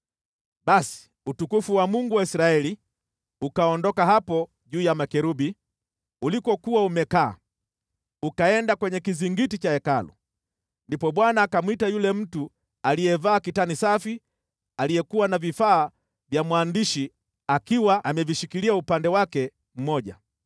Basi utukufu wa Mungu wa Israeli ukaondoka hapo juu ya makerubi, ulikokuwa umekaa, ukaenda kwenye kizingiti cha Hekalu. Ndipo Bwana akamwita yule mtu aliyevaa kitani safi aliyekuwa na vifaa vya mwandishi akiwa amevishikilia upande wake mmoja,